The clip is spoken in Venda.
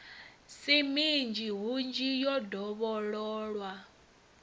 si minzhi hunzhi yo dovhololwa